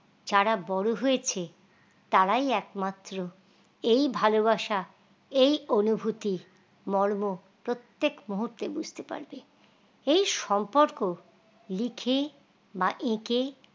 যারা বড় হয়েছে তারাই একমাত্র এই ভালোবাসা এই অনুভূতি মর্ম প্রত্যেক মুহূর্তে বুঝতে পারবে এই সম্পর্ক লিখে বা একেঁ